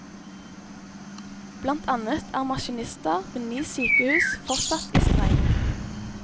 Blant annet er maskinister ved ni sykehus fortsatt i streik.